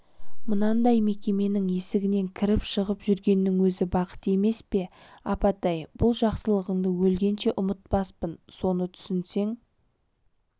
мынандай мекеменің есігінен кіріп-шығып жүргеннің өзі бақыт емес пе апатай бұл жақсылығыңды өлгенше ұмытпаспын соны түсінсең